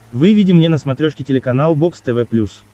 выведи мне на смотрешке телеканал бокс тв плюс